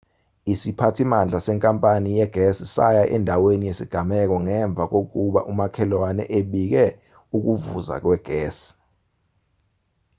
isiphathimandla senkapani yegesi saya endaweni yesigameko ngemva kokuba umakhelwane ebike ukuvuza kwegesi